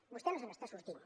vostè no se n’està sortint